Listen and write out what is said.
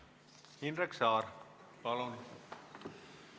Indrek Saar, palun!